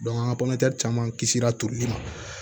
an ka caman kisira turuli ma